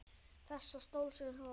Þessa stóísku ró.